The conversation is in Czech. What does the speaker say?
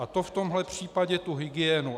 A to v tomhle případě tu hygienu.